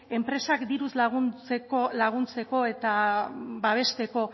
enpresak diruz laguntzeko eta babesteko